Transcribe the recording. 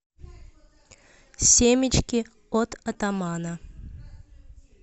семечки от атамана